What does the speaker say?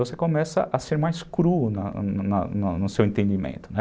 Você começa a ser mais cru na na no seu entendimento, né?